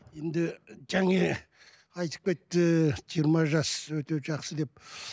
енді жаңа айтып кетті жиырма жас өте жақсы деп